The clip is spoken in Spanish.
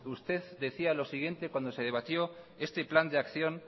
usted decía lo siguiente cuando se debatió este plan de acción